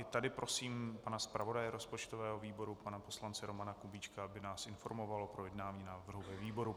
I tady prosím pana zpravodaje rozpočtového výboru, pana poslance Romana Kubíčka, aby nás informoval o projednání návrhu ve výboru.